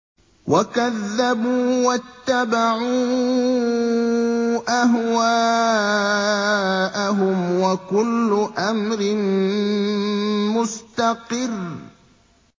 وَكَذَّبُوا وَاتَّبَعُوا أَهْوَاءَهُمْ ۚ وَكُلُّ أَمْرٍ مُّسْتَقِرٌّ